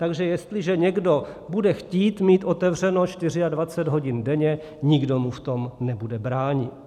Takže jestliže někdo bude chtít mít otevřeno 24 hodin denně, nikdo mu v tom nebude bránit.